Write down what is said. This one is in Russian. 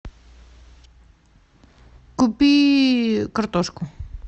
купи картошку